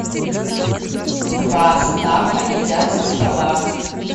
два стаффа едят со стола